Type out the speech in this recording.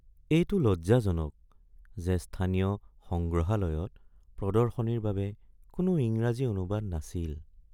এইটো লজ্জাজনক যে স্থানীয় সংগ্ৰহালয়ত প্ৰদৰ্শনীৰ বাবে কোনো ইংৰাজী অনুবাদ নাছিল।